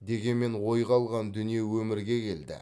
дегенмен ойға алған дүние өмірге келді